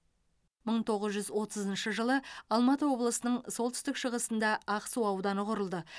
мың тоғыз жүз отызыншы жылы алматы облысының солтүстік шығысында ақсу ауданы құрылды